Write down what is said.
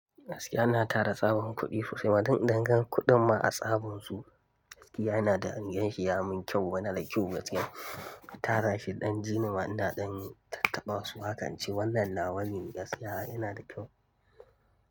Gaskiya ina tara tsaban kuɗi sosai ma, dan idan gan kuɗin ma a tsaban su, gaskiya yana da, yin shi ya mun kyau, yana da kyau gaskiya. Tara shi ɗan jin ma ina ɗan tattaɓa su hakance wannan nawane gaskiya yana da kyau.